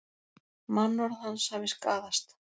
Mannorð hans hafi skaðast